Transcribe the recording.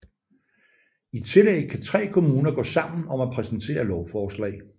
I tillæg kan tre kommuner gå sammen om at præsentere lovforslag